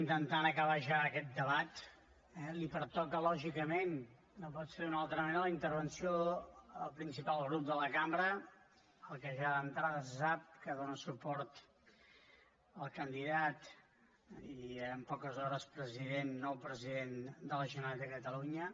intentant acabar ja aquest debat li pertoca lògicament no pot ser d’una altra manera la intervenció al principal grup de la cambra el qual ja d’entrada se sap que dóna suport al candidat i en poques hores president nou president de la generalitat de catalunya